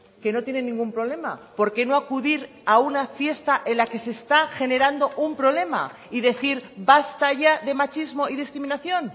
que no tiene ningún problema por qué no acudir a una fiesta en la que se está generando un problema y decir basta ya de machismo y discriminación